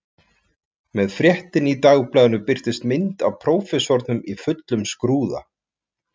Með fréttinni í dagblaðinu birtist mynd af prófessornum í fullum skrúða